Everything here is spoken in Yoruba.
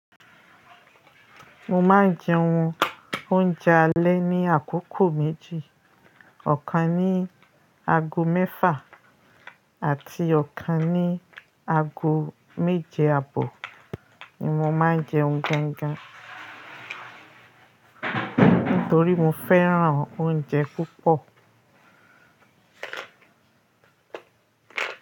Mo máa ń jẹ ohun oúnjẹ alẹ́ ní àkókò méjì. Ọ̀kan ní aago mẹ́fà àti ọ̀kan ní aago méje àbọ̀ ni mo máa ń jẹun gan gan. Nítorí mo fẹ́ràn oúnjẹ púpọ̀.